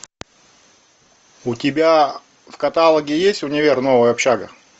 у тебя в каталоге есть универ новая общага